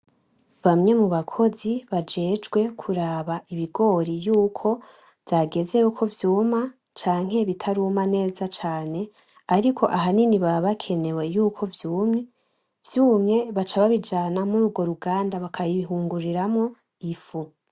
Bamwe mu bakozi bajejwe kuraba ibigori yuko vyageze yuko vyuma; canke bitaruma neza cane ariko ahanini baba bakenewe yuko vyumye, vyumye baca babijana mur'urwo ruganda baka bihinguriramwo ifu.